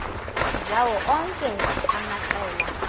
zawo onke amaqela